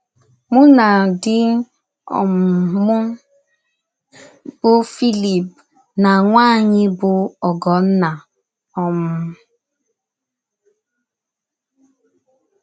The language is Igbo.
Mụ na di um m, bụ́ cs] Felipe, na nwa anyị, bụ́ Ogonna um